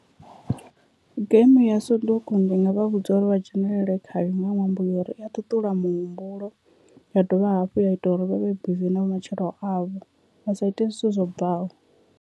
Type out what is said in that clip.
Game ya soduku ndi nga vha vhudza uri vha dzhenelele khayo nga ṅwambo yori i ya ṱuṱula muhumbulo ya dovha hafhu ya ita uri vhavhe bizi na matshilo avho vha sa ite zwithu zwo bvaho.